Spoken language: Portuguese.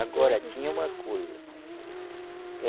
Agora tinha uma coisa.